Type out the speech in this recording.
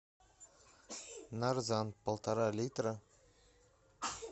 нарзан полтора литра